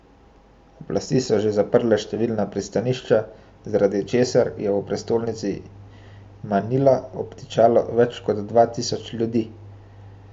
Oblasti so že zaprle številna pristanišča, zaradi česar je v prestolnici Manila obtičalo več kot dva tisoč ljudi.